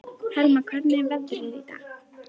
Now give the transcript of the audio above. Helma, hvernig er veðrið í dag?